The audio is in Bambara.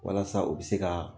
Walasa u bɛ se ka